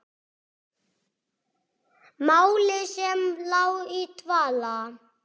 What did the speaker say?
Máli sem lá í dvala!